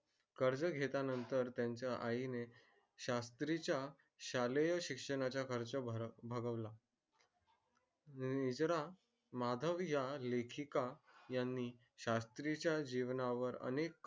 कर्ज घेल्या नंतर त्याच्या आई ने शास्त्री च्या शालेय शिक्षणाचा खरंच माधव या लेखिका यांनी च्या जीवनावर अनेक